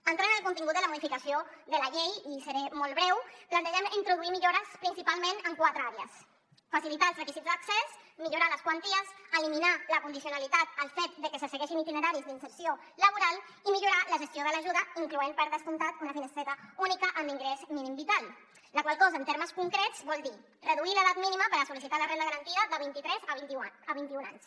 entrant en el contingut de la modificació de la llei i seré molt breu plantegem introduir hi millores principalment en quatre àrees facilitar els requisits d’accés millorar les quanties eliminar la condicionalitat el fet de que se segueixin itineraris d’inserció laboral i millorar la gestió de l’ajuda incloent hi per descomptat una finestreta única amb ingrés mínim vital la qual cosa en termes concrets vol dir reduir l’edat mínima per sol·licitar la renda garantida de vint i tres a vint i un anys